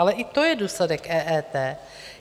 Ale i to je důsledek EET.